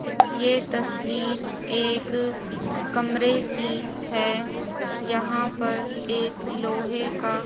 ये तस्वीर एक कमरे की है यहां पर एक लोहे का--